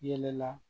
Yɛlɛla